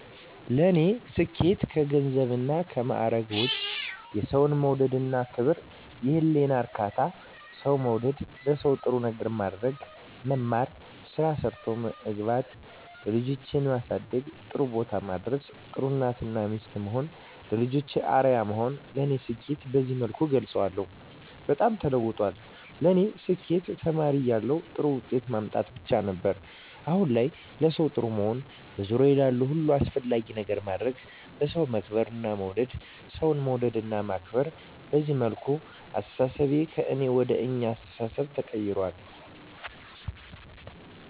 ለኔ ስኬት ከገንዘብና ከማረግ ውጭ፦ የሠው መውደድ እና ክብር፤ የህሊና እርካታ፤ ሠው መውደድ፤ ለሠው ጥሩ ነገር ማድረግ፤ መማር፤ ስራ ሠርቶ መግባት፤ ልጆቼን ማሠደግ ጥሩቦታ ማድረስ፤ ጥሩ እናት እና ሚስት መሆን፤ ለልጆቼ አርያ መሆን ለኔ ስኬትን በዚህ መልኩ እገልፀዋለሁ። በጣም ተለውጧል ለኔ ስኬት ተማሪ እያለሁ ጥሩ ውጤት ማምጣት ብቻ ነበር። አሁን ላይ ለሠው ጥሩ መሆን፤ በዙሪያዬ ላሉ ሁሉ አስፈላጊ ነገር ማድረግ፤ በሠው መከበር መወደድ፤ ሠው መውደድ እና ማክበር፤ በዚህ መልኩ አስተሣሠቤ ከእኔ ወደ አኛ አስተሣሠቤ ተቀይራል።